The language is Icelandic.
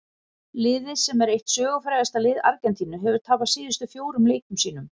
Liðið sem er eitt sögufrægasta lið Argentínu hefur tapað síðustu fjórum leikjum sínum.